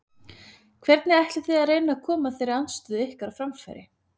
Hvernig ætlið þið að reyna að koma þeirri andstöðu ykkar á framfæri?